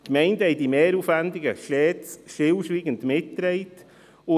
Die Gemeinden haben diese Mehraufwendungen stets stillschweigend mitgetragen.